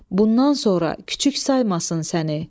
Bundan sonra küçük saymasın səni.